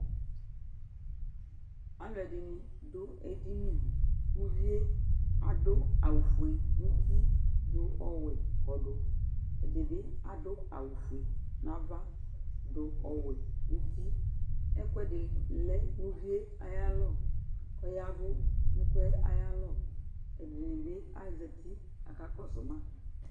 aluɛdini bʊɛdini uvɛ adʊawɔƒɛ nutɩ ɔwɛ kudʊ ɛdibi adu awɔfɛ nava dʊɔwɛ nuti ɛkɛadi lɛ nuvɩɛ nayalʊ kuɔyav nu ɛkɛayalu ɛdinibi azti akakusuma